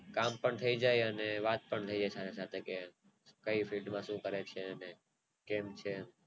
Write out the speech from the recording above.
કામ પણ થાય જાય અને વાત પણ કે ફિટ માં શું કરે છે અને કેમ છે